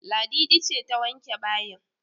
Ladidi ce ta wanke bayin